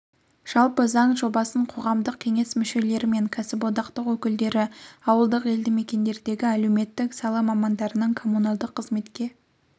жалпы заң жобасын қоғамдық кеңес мүшелері мен кәсіподақтар өкілдері ауылдық елдімекендердегі әлеуметтік сала мамандарының коммуналдық қызметке